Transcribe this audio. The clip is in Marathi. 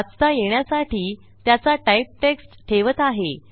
वाचता येण्यासाठी त्याचा टाइप टेक्स्ट ठेवत आहे